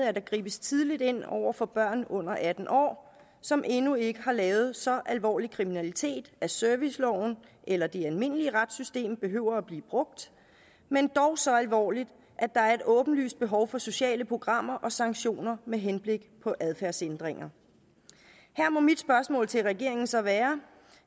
at der gribes tidligt ind over for børn under atten år som endnu ikke har lavet så alvorlig kriminalitet at serviceloven eller det almindelige retssystem behøver at blive brugt men dog så alvorligt at der er et åbenlyst behov for sociale programmer og sanktioner med henblik på adfærdsændringer her må mit spørgsmål til regeringen så være